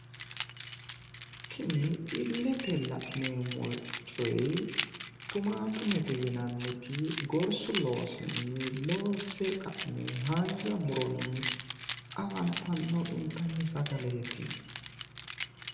Tini illete la'neemmo coy tumaatumete yinanniti gorsu loosunni loonse ka'ne haanja muronni afantanno intanni sagaleeti